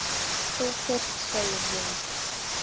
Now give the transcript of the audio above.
Þú fyrst, segi ég.